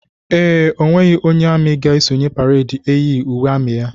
Ee, onweghi onye amị ga esonye pareedi eyighi uwe amị ya.